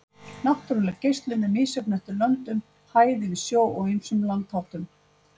Náttúruleg geislun er misjöfn eftir löndum, hæð yfir sjó og ýmsum landsháttum.